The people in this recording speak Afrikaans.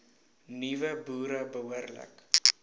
nuwe boere behoorlik